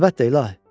Əlbəttə, ilahi.